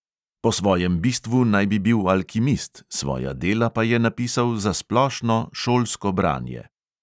Po svojem bistvu naj bi bil alkimist, svoja dela pa je napisal za splošno, šolsko branje.